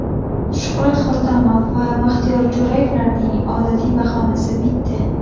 Shuhrat Hotamov va Baxtiyor Jo‘rayevlarning odatiy bahonasi bitta.